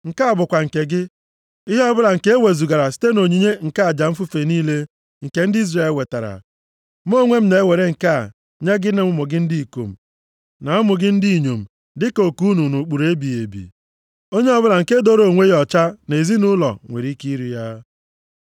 “Nke a bụkwa nke gị: Ihe ọbụla nke ewezugara site nʼonyinye nke aja mfufe niile nke ndị Izrel wetara. Mụ onwe m na-ewere nke a nye gị na ụmụ gị ndị ikom, na ụmụ gị ndị inyom dịka oke unu nʼụkpụrụ ebighị ebi. Onye ọbụla nke dooro onwe ya ọcha nʼezinaụlọ nwere ike iri ya.